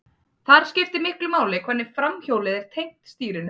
Þar skiptir miklu máli hvernig framhjólið er tengt stýrinu.